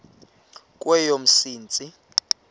kweyomsintsi